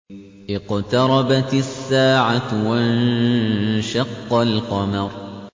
اقْتَرَبَتِ السَّاعَةُ وَانشَقَّ الْقَمَرُ